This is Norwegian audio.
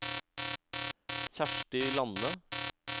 Kjersti Lande